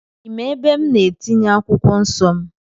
Ị ma ebe m na-etinye akwụkwọ nsọ m?